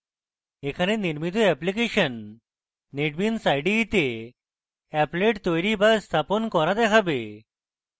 এখানে নির্মিত application netbeans ide the applets তৈরী এবং স্থাপন করা দেখাবে